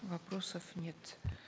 вопросов нет